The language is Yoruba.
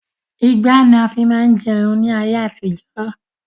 Igbá ni a fi máa ń jẹun ní ayé àtijọ́